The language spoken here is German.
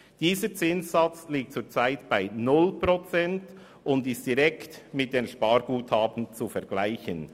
Dieser Zinssatz liegt zurzeit bei 0 Prozent und ist direkt mit einem Sparguthaben zu vergleichen.